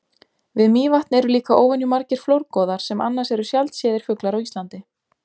Við Mývatn eru líka óvenju margir flórgoðar sem annars eru sjaldséðir fuglar á Íslandi.